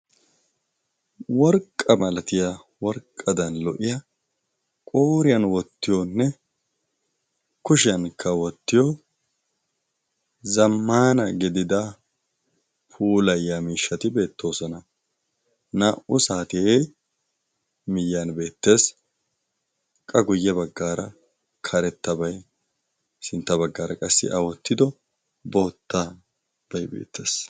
worqqa malatiya worqqadan lo'iya qooriyan wottiyoonne kushiyan kawottiyo zamaana gidida pulayya miishshati beettoosona. naa'u saatie miyyani beettees qa guyye baggaara karettabay sintta baggaara qassi awottido bootta bay beettees